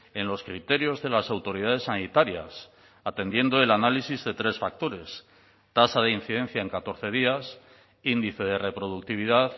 en los criterios de las autoridades sanitarias atendiendo el análisis de tres factores tasa de incidencia en catorce días índice de reproductividad